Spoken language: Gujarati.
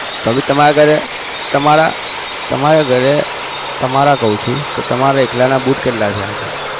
તો બી તમારા ઘરે તમારા ઘરે તમારા કઉ છુ તમારે એકલાના boot કેટલા હશે